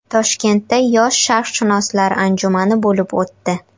Toshkentda yosh sharqshunoslar anjumani bo‘lib o‘tdi.